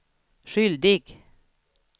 skyldig